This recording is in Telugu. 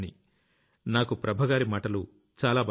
నాకు ప్రభగారి మాటలు చాలా బాగా నచ్చాయి